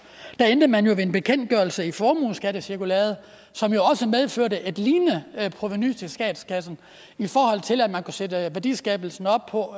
endte med en bekendtgørelse i formueskattecirkulæret som jo medførte et lignende provenu til statskassen i forhold til at man kunne sætte værdiskabelsen op på